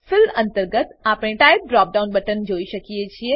fill અંતર્ગત આપણે type drop down button જોઈ શકીએ છીએ